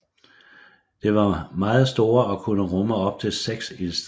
Det var meget store og kunne rumme op til seks ildsteder